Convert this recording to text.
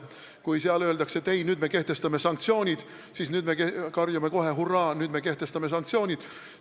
Kui seal öeldakse, et ei, nüüd me kehtestame sanktsioonid, siis meie karjume kohe, et jah, hurraa, nüüd me kehtestame sanktsioonid.